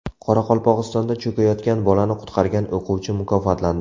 Qoraqalpog‘istonda cho‘kayotgan bolani qutqargan o‘quvchi mukofotlandi.